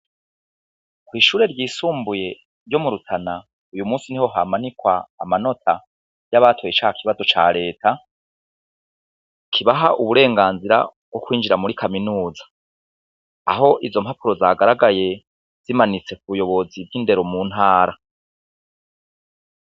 Ishure ry'isumbuye ryo mu rutana uyu musi niho hamanikwa amanota yabatoye ca kibazo ca reta kibaha uburenganzira bwo kwinjira muri kaminuza aho izo mpapuro zagaragaye zimanitse kubuyobozi mbw'indero mu ntara.